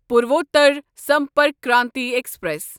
Purvottar Sampark Kranti express